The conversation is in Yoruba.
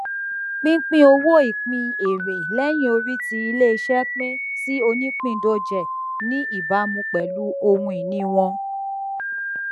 pínpín owó ìpín èrè lẹyìnorí tí iléiṣẹ pín sí onípìndóje ní ìbámu pẹlú ohunìní wọn